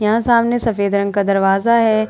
यहाँ सामने सफेद रंग का दरवाजा है ।